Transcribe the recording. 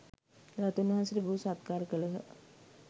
ධාතූන් වහන්සේට බොහෝ සත්කාර කළහ